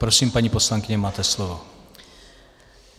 Prosím, paní poslankyně, máte slovo.